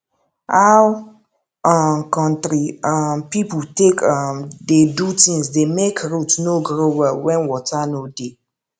how um country um people take um dey do things dey make root no grow well when water no dey